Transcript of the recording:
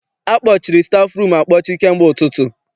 Akpọchiri stafụrum akpọchi kamgbe ụtụtụ.